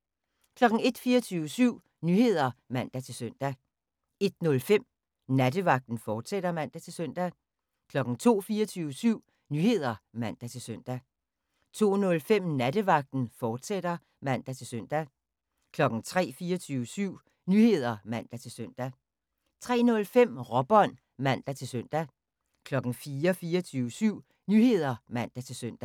01:00: 24syv Nyheder (man-søn) 01:05: Nattevagten, fortsat (man-søn) 02:00: 24syv Nyheder (man-søn) 02:05: Nattevagten, fortsat (man-søn) 03:00: 24syv Nyheder (man-søn) 03:05: Råbånd (man-søn) 04:00: 24syv Nyheder (man-søn)